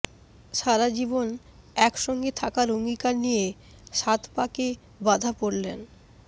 সারাজীবন একসঙ্গে থাকার অঙ্গীকার নিয়ে সাত পাঁকে বাধা পড়লেন